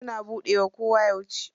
Suna buɗewa koda yauce.